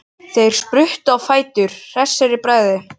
Þeir spruttu á fætur, hressir í bragði.